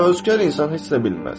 Təvəkkülkar insan heç nə bilməz.